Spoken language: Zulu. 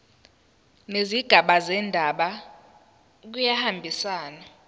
nezigaba zendaba kuyahambisana